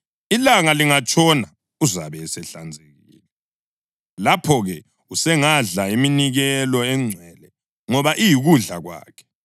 Ilanga lingatshona uzabe esehlanzekile, lapho-ke usengadla iminikelo engcwele ngoba iyikudla kwakhe.